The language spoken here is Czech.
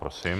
Prosím.